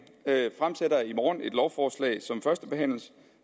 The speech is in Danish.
fremsætter i morgen et lovforslag som førstebehandles